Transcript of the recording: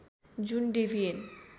जुन डेबियन